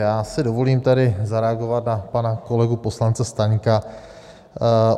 Já si dovolím tady zareagovat na pana kolegu poslance Staňka.